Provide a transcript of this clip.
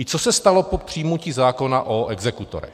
I co se stalo po přijmutí zákona o exekutorech?